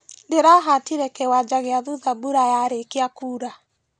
Ndĩrahatire kĩwanja gĩa thutha mbura yarĩkia kura.